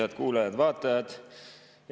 Head kuulajad-vaatajad!